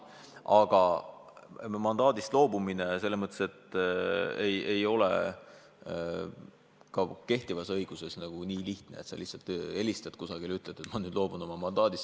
Aga mandaadist loobumine ei ole kehtivas õiguses nii lihtne, et sa lihtsalt helistad kusagile ja ütled, et ma nüüd loobun oma mandaadist.